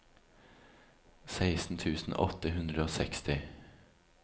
seksten tusen åtte hundre og seksti